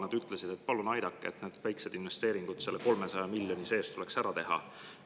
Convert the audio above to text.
Nad ütlesid, et palun aidake, need väikesed investeeringud tuleks selle 300 miljoni sees ära teha.